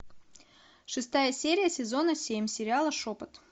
шестая серия сезона семь сериала шепот